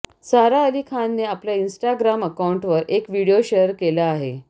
सारा अली खानने आपल्या इंस्टाग्राम अकाऊंटवर एक व्हिडिओ शेअर केला आहे